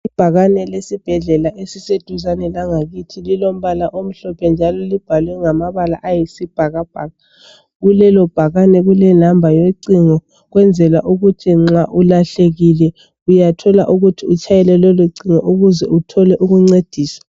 Ibhakane lesibhedlela eliseduzane langakithi lilombala omhlophe njalo libhalwe ngamabala ayisibhakabhaka, kulelo bhakane kulenamba yocingo ukwenzela ukuthi nxa ulahlekile uyathola ukuthi utshayele lelo cingo ukuze uthole ukuncediswa.